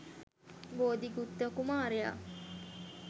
බෝධි ගුත්ත කුමාරයා